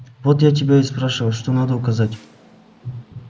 вот я тебя и спрашиваю что надо указать